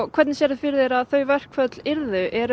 hvernig sérðu fyrir þér að þau verkföll yrðu eru